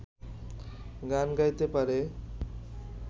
গান গাইতে পারে